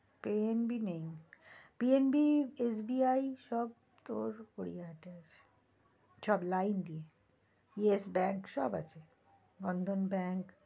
PNB নেই PNB, SBI সব তোর ওই আগে আছে সব line দিয়ে yes bank সব আছে Bandhan Bank